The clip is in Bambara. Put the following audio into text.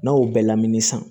N'a y'o bɛɛ lamini san